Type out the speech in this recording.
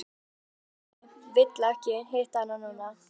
Hann getur ekki vill ekki hitta hana núna.